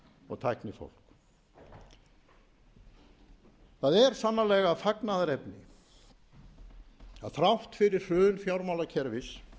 og tæknifólk það er sannarlega fagnaðarefni að þrátt fyrir hrun fjármálakerfis